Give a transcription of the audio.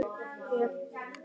Það er hans leikur.